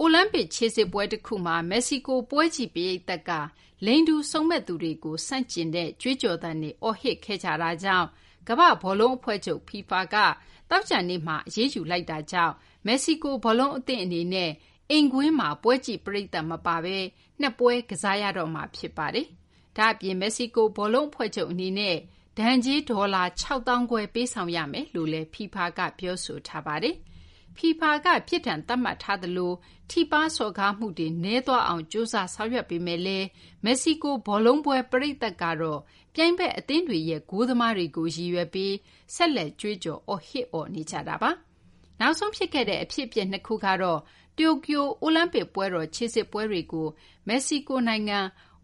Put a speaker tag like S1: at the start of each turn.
S1: အိုလံပစ်ခြေစစ်ပွဲတခုမှာ မက္ကဆီကို ပွဲကြည့်ပရိသတ်က လိင်တူစုံမက်သူတွေကို ဆန့်ကျင် အော်ဟစ်ခဲ့ကြတဲ့အတွက် ကမ္ဘာ့ဘောလုံးအဖွဲ့ချုပ် (FIFA) က သောကြာနေ့က အရေးယူလိုက်တာကြောင့် မက္ကဆီကို ဘောလုံးအသင်းအနေနဲ့ အိမ်ကွင်းမှာ ပွဲကြည့်ပရိသတ်မပါဘဲ ၂ ပွဲ ကစားရတော့မှာ ဖြစ်ပါတယ်။ ဒါ့အပြင် မက္ကဆီကို ဘောလုံးအဖွဲ့ချုပ် အနေနဲ့ ဒဏ်ကြေး ဒေါ်လာ ၆၅,၀၀၀ ပေးဆောင်ရမယ်လို့လည်း FIFA က ပြောဆိုထားပါတယ်။ FIFA က ပြစ်ဒဏ်သတ်မှတ်ထားသလို ထိပါး စော်ကားမှုတွေ နည်းသွားအောင် ကြိုးစားဆောင်ရွက်ပေမယ့်လည်း မက္ကဆီကို ဘောလုံးပွဲ ပရိသတ်ကတော့ ပြိုင်ဘက် အသင်းတွေရဲ့ ဂိုးသမားတွေကို ရည်ရွယ်ပြီး ဆက်လက် ကြွေးကြော် ဟစ်အော်နေကြတာပါ။ နောက်ဆုံးဖြစ်ခဲ့တဲ့ အဖြစ်အပျက် ၂ ခုကတော့ တိုကျိုအိုလံပစ်ပွဲတော် ခြေစစ်ပွဲတွေကို မက္ကဆီကိုနိုင်ငံ